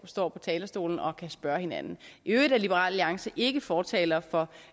står på talerstolen og kan spørge hinanden i øvrigt er liberal alliance ikke fortaler for